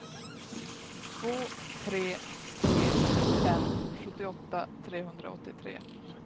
två tre tre fem sjuttioåtta trehundraåttiotre